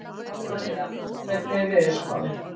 Ólavía, hvernig er veðurspáin?